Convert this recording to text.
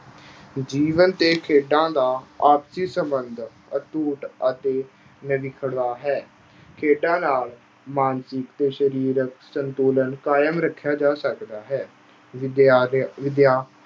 ਜੀਵਨ ਤੇ ਖੇਡਾਂ ਦਾ ਆਪਸੀ ਸਬੰਧ ਅਟੁੱਟ ਅਤੇ ਹੈ। ਖੇਡਾਂ ਨਾਲ ਮਾਨਸਿਕ ਤੇ ਸਰੀਰਕ ਸੰਤੁਲਨ ਕਾਇਮ ਰੱਖਿਆ ਜਾ ਸਕਦਾ ਹੈ। ਵਿਦਿਆ ਦੇ ਅਹ ਵਿਦਿਆ ਅਹ